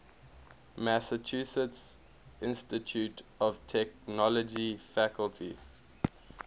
massachusetts institute of technology faculty